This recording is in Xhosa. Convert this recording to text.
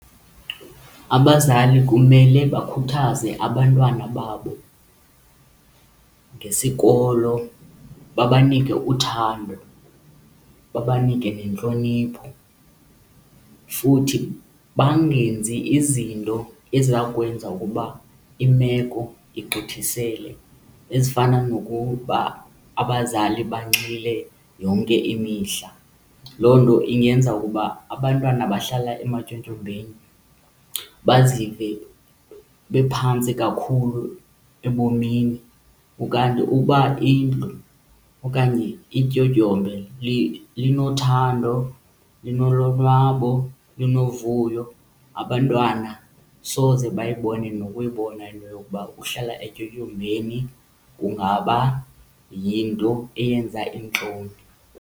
Abazali kumele bakhuthaze abantwana babo ngesikolo, babanike uthando, babanike nentlonipho futhi bangenzi izinto eziza kwenza ukuba imeko igqithisele, ezifana nokuba abazali banxile yonke imihla. Loo nto ingenza ukuba abantwana abahlala ematyotyombeni bazive bephantsi kakhulu ebomini. Ukanti ukuba indlu okanye ityotyombe linothando, linolonwabo, linovuyo abantwana soze bayibone nokuyibona into yokuba ukuhlala etyotyombeni kungaba yinto eyenza iintloni.